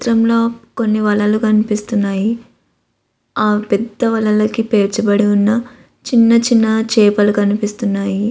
ఈ చిత్రంలో కొన్ని వలలు కనిపిస్తున్నాయి ఆ పెద్ద వలలకు పేర్చబడివున్న చిన్న చిన్న చేపలు కనిపిస్తున్నాయి.